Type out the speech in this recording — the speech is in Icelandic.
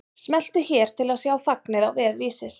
Smelltu hér til að sjá fagnið á vef Vísis